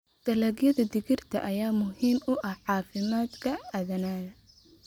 Dalagyada digirta ayaa muhiim u ah caafimaadka aadanaha.